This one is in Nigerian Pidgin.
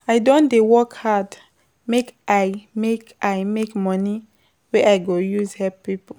I don dey work hard make I make I make moni wey I go use help pipo.